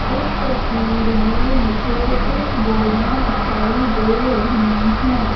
इस तस्वीर में मुझे कुछ बोरियां दिखाई दे रही हैं।